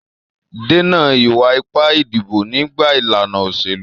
Dènà ìwà ipá ìdìbò nígbà ìlànà òṣèlú.